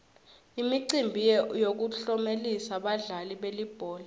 imicimbi yokutlomelisa badlali belibhola